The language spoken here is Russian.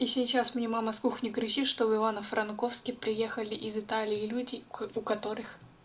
и сейчас мне мама с кухни кричит что в ивано-франковске приехали из италии люди у которых